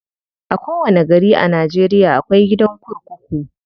A kowanni gari a Najeriya akwai gidan kurkuku.